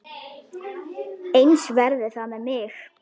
Eins verði það með mig.